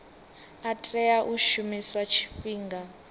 a tea u shumiswa tshifhinga